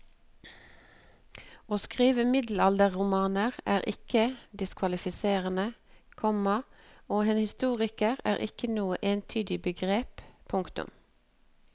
Å skrive middelalderromaner er ikke diskvalifiserende, komma og en historiker er ikke noe entydig begrep. punktum